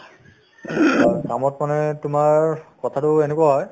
ing অ, কামত মানে তোমাৰ কথাতো এনেকুৱা হয়